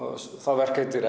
verk heitir